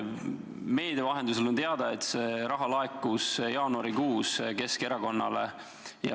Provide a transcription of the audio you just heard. Meedia vahendusel on teada, et see raha laekus jaanuarikuus Keskerakonnale.